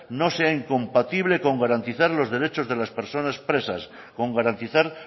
no sea incompatible con garantizar los derechos de las personas presas con garantizar